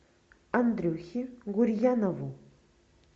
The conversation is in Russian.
андрюхе гурьянову